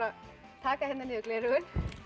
taka niður gleraugun